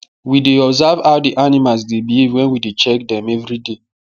we dey observe how the animals dey behave wen we dey check dem everyday